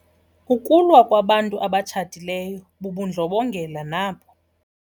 Ukulwa kwabantu abatshatileyo bubundlobongela nabo.